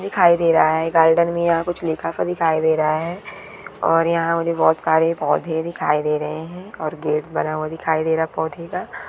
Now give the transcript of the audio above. दिखाई दे रहा है गार्डन में यहां कुछ लिखा था दिखाई दे रहा है और यहां मुझे बहुत सारे पौधे दिखाई दे रहे हैं और गेट बना हुआ दिखाई दे रहा पौधे का।